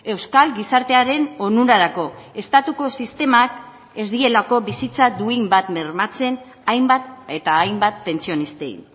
euskal gizartearen onurarako estatuko sistemak ez dielako bizitza duin bat bermatzen hainbat eta hainbat pentsionistei